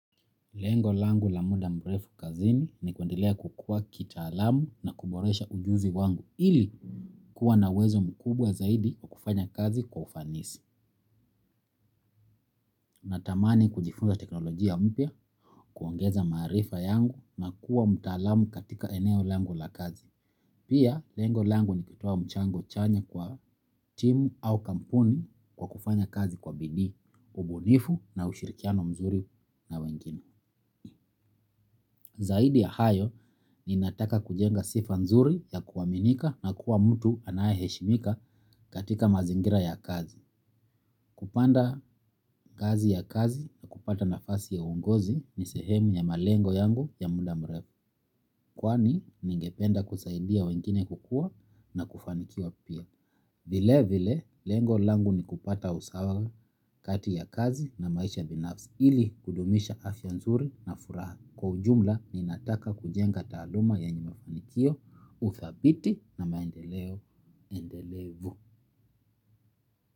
Lengo langu la muda mrefu kazini ni kuendelea kukua kitaalamu na kuboresha ujuzi wangu ili kuwa na uwezo mkubwa zaidi wa kufanya kazi kwa ufanisi. Natamani kujifunza teknolojia mpya, kuongeza maarifa yangu na kuwa mtaalamu katika eneo langu la kazi. Pia, lengo langu ni kutoa mchango chanya kwa timu au kampuni kwa kufanya kazi kwa bidii, ubunifu na ushirikiano mzuri na wengine. Zaidi ya hayo, ninataka kujenga sifa nzuri ya kuaminika na kuwa mtu anayeheshimika katika mazingira ya kazi. Kupanda ngazi ya kazi na kupata nafasi ya uongozi ni sehemu ya malengo yangu ya muda mrefu. Kwani, ningependa kusaidia wengine kukua na kufanikiwa pia. Vile vile, lengo langu ni kupata usawa kati ya kazi na maisha binafsi ili kudumisha afya nzuri na furaha. Kwa ujumla ninataka kujenga taaluma yenye mafanikio, uthabiti na maendeleo endelevu.